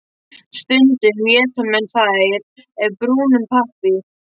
Stundum éta menn þær af brúnum pappír.